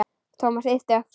Thomas yppti öxlum.